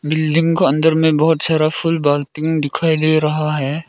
Building के अंदर में बहुत सारा फुल बाल्टी दिखाई दे रहा है।